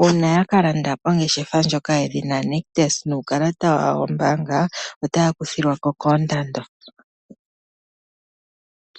uuna ya ka landa kongeshefa ndjoka yedhina Nictus nuukalata wawo wombaanga otaya kuthilwako koondando.